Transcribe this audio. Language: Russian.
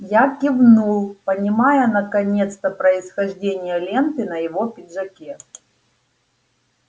я кивнул понимая наконец-то происхождение ленты на его пиджаке